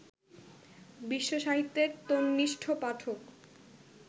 বিশ্বসাহিত্যের তন্নিষ্ঠ পাঠক